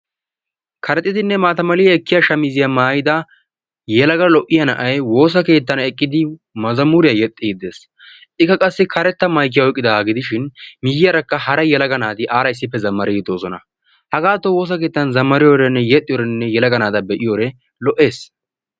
Karexxidinne maata Mali ekkiya shamiziya maayida yelaga lo'iya na"ay woosa keettan eqqidi mazamuriya yexxiiddi des. Ikka qassi karetta mayikiya oyiqqidaagaa gidishin miyyiyarakka hara yelaga naati aara issippe zammariiddi doosona. Hagaatto woosa keettan zammariyodeenne yexxiyode yelaga naata be'iyode lo'es.